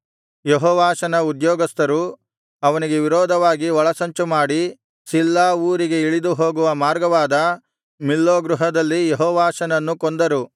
ಯೆಹೋವಾಷನ ಉದ್ಯೋಗಸ್ಥರು ಅವನಿಗೆ ವಿರೋಧವಾಗಿ ಒಳಸಂಚು ಮಾಡಿ ಸಿಲ್ಲಾ ಊರಿಗೆ ಇಳಿದು ಹೋಗುವ ಮಾರ್ಗವಾದ ಮಿಲ್ಲೋ ಗೃಹದಲ್ಲಿ ಯೆಹೋವಾಷನನ್ನು ಕೊಂದರು